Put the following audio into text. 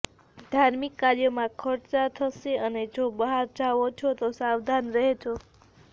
ધાર્મિક કાર્યોમાં ખર્ચા થશે અને જો બહાર જાઓ છો તો સાવધાન રહેજો